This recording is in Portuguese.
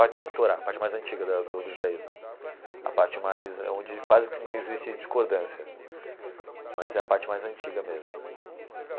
A Torá, a parte mais antiga da do do judaísmo, a parte mais onde quase que não existe discordância, mas é a parte mais antiga mesmo.